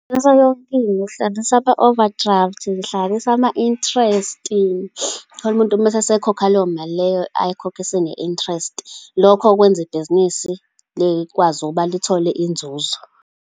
Ngingahlanganisa yonkinto, ngihlanganise ama-overdraft, ngihlanganise ama-interest, uthole umuntu mese esekhokha leyo mali leyo, ayikhokhe seyine-interest. Lokho kwenza ibhizinisi likwazi ukuba lithole inzuzo.